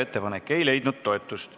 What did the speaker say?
Ettepanek ei leidnud toetust.